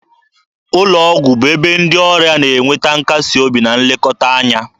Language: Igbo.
Ụlọ ọgwụ bụ ebe ndị ọrịa na enweta nkasi obi na nlekọta anya.